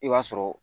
I b'a sɔrɔ